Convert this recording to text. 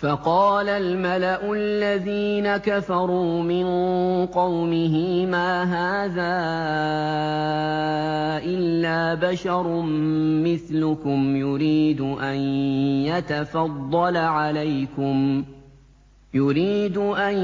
فَقَالَ الْمَلَأُ الَّذِينَ كَفَرُوا مِن قَوْمِهِ مَا هَٰذَا إِلَّا بَشَرٌ مِّثْلُكُمْ يُرِيدُ أَن